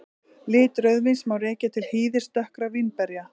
Lit rauðvíns má rekja til hýðis dökkra vínberja.